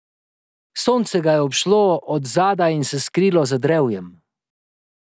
Sonce ga je obšlo od zadaj in se skrilo za drevjem.